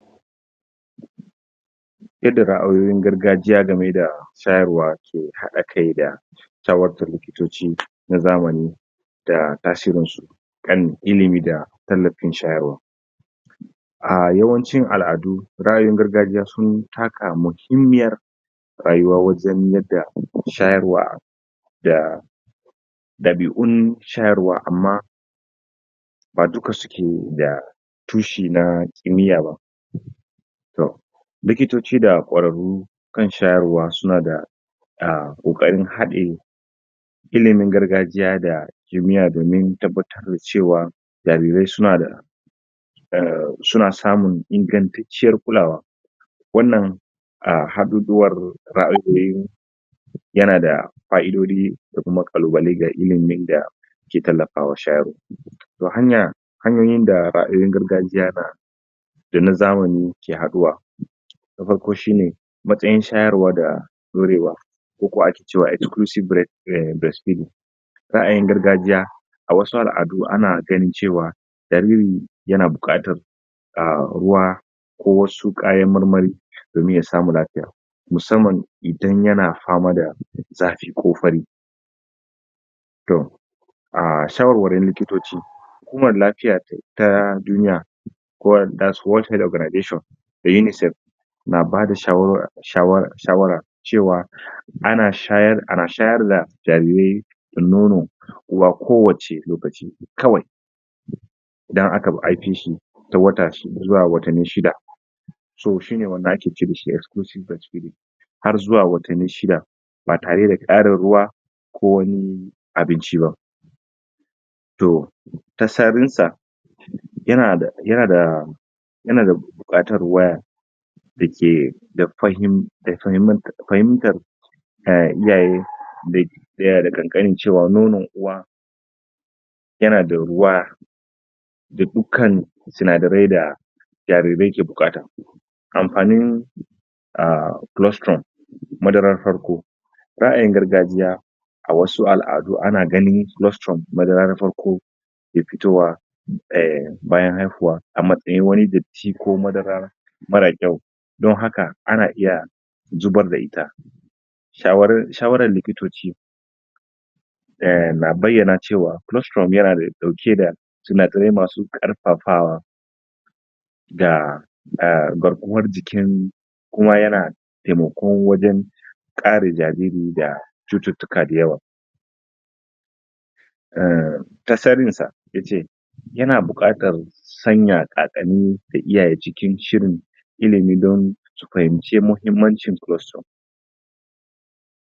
Yadda raayoyin gargajiya gameda shayarwa ke hada kai da tawatta likitoci na zamani da tasirinsu kan ilimi da tallafin shayarwa a yawancin aladu raayoyin gargajiya sun taka muhimmiyar rayuwa wajan yadda shayarwa dah da dabiun shayarwa amma wato ba dika keda tushi na kimi'a ba likitoci da kwararru kan shayarwa suna da ah kokarin hade ilimin gargajiya da kimi'a domin tabbatar da cewa jarirai suna da eh suna samin ingantacciyar kulawa wannan a haduduwar raayoyin yanada faidodin dakuma kalubale ga ilimin da ke tallafawa shayarwa to hanyoyin da illolin gargajiya na na da na zamani ke haduwa nafarko shine matsayin shayarwa da daurewa koko ake cewa exclusive breastfeeding raayin gargajiya a wasu aladu ana ganin cewa jariri yana bukatar ruwa ko wasu kayan marmari domin yasamu lafiya musamman idan yana fama da zafi ko fari to a shawarwarin likitoci ta duniya that's world health organization da UNICEF na ba da shawara hawara cewa ana shayarda jarirai da nono a kowace lokaci kawai dan haka ba ai fishi zuwa watanni shida wanda ake ce dashi exclusive breastfeeding har zuwa watanni shida ba tare da karin ruwa ko wani abinci ba to tasadun sa yana da yana da bukatar ruwa ya dake da fahin tar iyaye yana da kankani cewa nonon uwa yana da ruwa da dukkan sinadarai da jarirai ke bukata amfanin h cholesterol madarar farko raayin gargajiya a wasu aladu ana ganin cholesterol madarar farko ke fitowa bayan haihuwa a matsayin wani datti ko madara mara kyau don haka ana iya zibar da ita shawarar likitoci na bayyana cewa cholesterol yana dauke da sinadarai masu karfafawa dah ah da garkuwar jikin kuma yana taimako wajan kare jariri da chututtuka dayawa eh da tasarin sa yace yana bukatan sanya kakan iyaye cikin shirin ilimi don su fahimci mahimmancin cholesterol